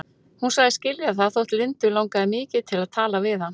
Hún sagðist skilja það þótt Lindu langaði mikið til að tala við hann.